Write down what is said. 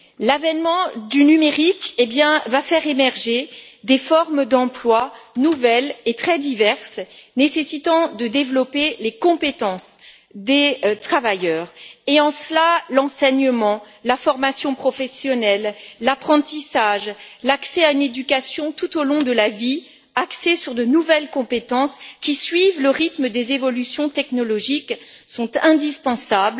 L'avènement du numérique va faire émerger des formes d'emplois nouvelles et très diverses, nécessitant de développer les compétences des travailleurs et, en cela, l'enseignement, la formation professionnelle, l'apprentissage, l'accès à une éducation tout au long de la vie, axée sur de nouvelles compétences, qui suivent le rythme des évolutions technologiques, sont indispensables.